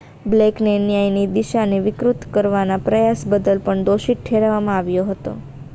બ્લેકને ન્યાયની દિશાને વિકૃત કરવાના પ્રયાસ બદલ પણ દોષિત ઠેરવવામાં આવ્યો હતો